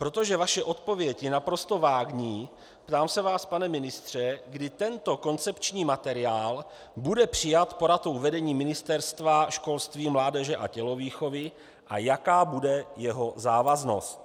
Protože vaše odpověď je naprosto vágní, ptám se vás, pane ministře, kdy tento koncepční materiál bude přijat poradou vedení Ministerstva školství, mládeže a tělovýchovy a jaká bude jeho závaznost.